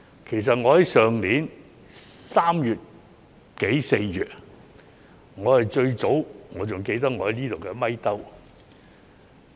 事實上，去年3月、4月時，我是最早提出的一位。